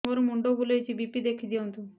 ମୋର ମୁଣ୍ଡ ବୁଲେଛି ବି.ପି ଦେଖି ଦିଅନ୍ତୁ